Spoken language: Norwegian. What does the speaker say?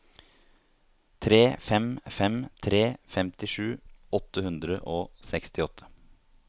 tre fem fem tre femtisju åtte hundre og sekstiåtte